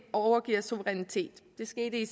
overgiver suverænitet det skete i